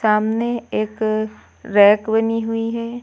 सामने एक रैक बनी हुई है।